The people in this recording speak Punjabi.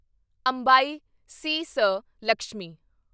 ਅੰਬਾਈ ਸੀ.ਸ. ਲਕਸ਼ਮੀ